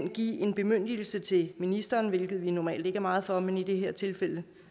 at give en bemyndigelse til ministeren hvilket vi normalt ikke er meget for men i det her tilfælde